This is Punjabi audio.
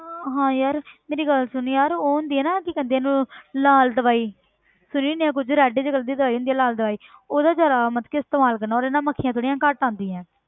ਹਾਂ ਹਾਂ ਯਾਰ ਮੇਰੀ ਗੱਲ ਸੁਣ ਯਾਰ ਉਹ ਹੁੰਦੀ ਆ ਨਾ ਕੀ ਕਹਿੰਦੇ ਆ ਉਹਨੂੰ ਲਾਲ ਦਵਾਈ ਸੁਣੀ ਹੋਣੀ ਆਂ ਕੁੱਝ red ਜਿਹੇ colour ਦੀ ਦਵਾਈ ਹੁੰਦੀ ਆ ਲਾਲ ਦਵਾਈ ਉਹਦਾ ਜ਼ਿਆਦਾ ਮਤਲਬ ਕਿ ਇਸਤੇਮਾਲ ਕਰਨਾ ਉਹਦੇ ਨਾਲ ਮੱਖੀਆਂ ਥੋੜ੍ਹੀਆਂ ਜਿਹੀਆਂ ਘੱਟ ਆਉਂਦੀਆਂ ਹੈ।